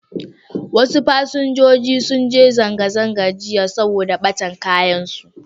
Wasu fasinjoji sun ji zanga-zanga jiya saboda ɓatan kayansu.